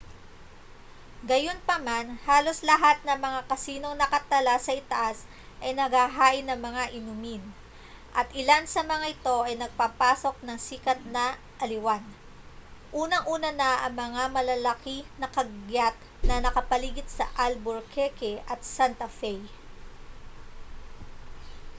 gayunpaman halos lahat ng mga casinong nakatala sa itaas ay naghahain ng mga inumin at ilan sa mga ito ay nagpapasok ng sikat na aliwan unang-una na ang malalaki na kagyat na nakapaligid sa albuquerque at santa fe